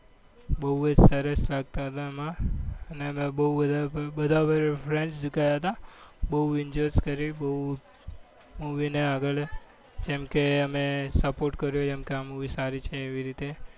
બહુ જ સરસ લાગતા હતા. એમાં અને અમે બહુ બધા બધા friends ગયા હતા બહુ enjoy કર્યું બહુ movie ને આગળ જેમ કે અમે support કર્યો જેમ કે આ movie સારી છે એવી રીતે.